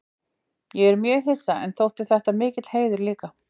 Ég var mjög hissa en þótti þetta mikill heiður líka.